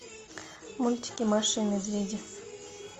мультики маша и медведи